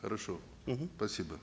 хорошо мхм спасибо